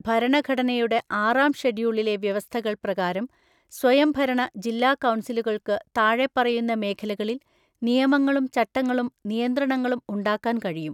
ഭരണഘടനയുടെ ആറാം ഷെഡ്യൂളിലെ വ്യവസ്ഥകൾ പ്രകാരം സ്വയംഭരണ ജില്ലാ കൗൺസിലുകൾക്ക് താഴെപ്പറയുന്ന മേഖലകളിൽ നിയമങ്ങളും ചട്ടങ്ങളും നിയന്ത്രണങ്ങളും ഉണ്ടാക്കാൻ കഴിയും.